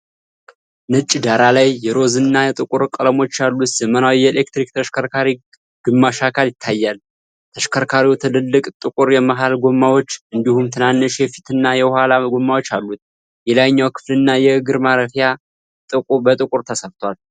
ነጭ ዳራ ላይ የሮዝ እና ጥቁር ቀለሞች ያሉት ዘመናዊ የኤሌክትሪክ ተሽከርካሪ ግማሽ አካል ይታያል። ተሽከርካሪው ትልልቅ ጥቁር የመሃል ጎማዎች እንዲሁም ትናንሽ የፊትና የኋላ ጎማዎች አሉት። የላይኛው ክፍልና የእግር ማረፊያው በጥቁር ተሠርቷል።